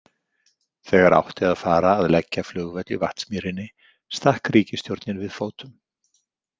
Þegar átti að fara að leggja flugvöll í Vatnsmýrinni stakk ríkisstjórnin við fótum.